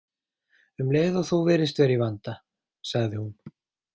Um leið og þú virðist vera í vanda, sagði hún.